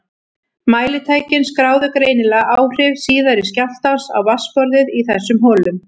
Mælitækin skráðu greinilega áhrif síðari skjálftans á vatnsborðið í þessum holum.